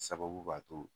Sababu b'a to